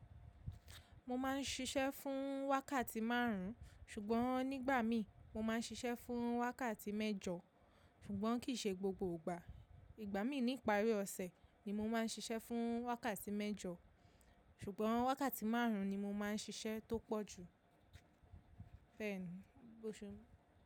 Mo ma ń ṣiṣẹ́ fún wákàtí márùn, ṣùgbọ́n nígbà mí, mo máa ń ṣiṣẹ́ fún wákàtí mẹ́jọ, ṣùgbọ́n kì í ṣe gbogbo ìgbà. Ìgbà míi ní ìparí ọ̀sẹ̀ ni mo máa ń ṣiṣẹ́ fún wákàtí mẹ́jọ, ṣùgbọ́n wákàtí márùn ni mo máa ń ṣiṣẹ́ tó pọ̀ jù.